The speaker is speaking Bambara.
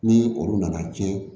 Ni olu nana tiɲɛ